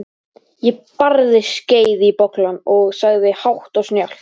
Ég barði skeið í bollann og sagði hátt og snjallt